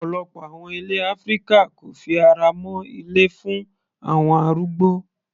Ọ̀pọ̀lọpọ̀ àwọn ilé áfíríkà kò fi ara mọ́ ilé fún àwọn arúgbó.